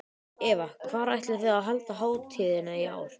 Eva, hvar ætlið þið að halda hátíðina í ár?